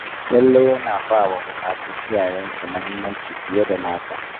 Talle yana ba wa buƙatun iyayensa muhimmanci fiye da nasa